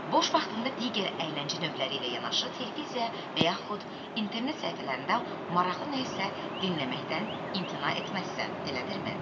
Boş vaxtında digər əyləncə növləri ilə yanaşı televiziya və yaxud internet səhifələrində maraqlı nə isə dinləməkdən imtina etməzsən, elədirmi?